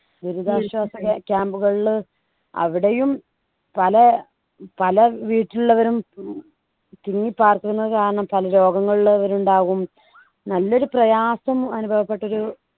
ദുരിതാശ്വാസ ക camp കളില് അവിടെയും പല പല വീട്ടിലുള്ളവരും ഉം തിങ്ങി പാർക്കുന്ന കാരണം പല രോഗങ്ങൾ ഉള്ളവരും ഉണ്ടാവും നല്ലൊരു പ്രയാസം അനുഭവപ്പെട്ട ഒരു